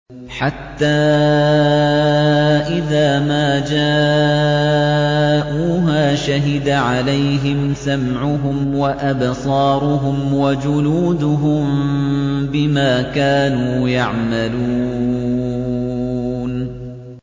حَتَّىٰ إِذَا مَا جَاءُوهَا شَهِدَ عَلَيْهِمْ سَمْعُهُمْ وَأَبْصَارُهُمْ وَجُلُودُهُم بِمَا كَانُوا يَعْمَلُونَ